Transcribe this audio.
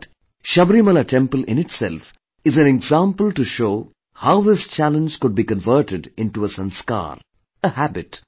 But, Sabrimala temple in itself is an example to show how this challenge could be converted into a sanskar, a habit